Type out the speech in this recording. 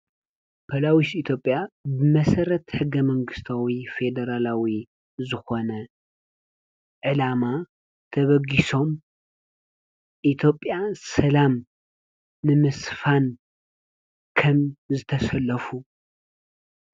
ፖላዊስ ኢትዮጲያ ብመሰረት ሕገ መንግስታዊ ፌደራላዊ ዝኮነ ዕላማ ተበጊሶም ኢትዮጲያ ሰላም ንምስፋን ከም ዝተሰለፉ።